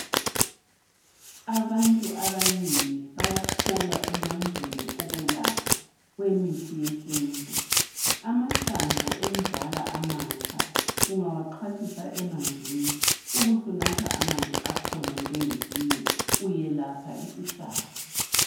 Abantu abanengi bayakholwa emandleni okwelapha kwemithi yesintu amahlamvu enzala amatsha ungawaxhwathisa emanzini ubusunatha amanzi akhona njenge tiye uyelapha isihlabo.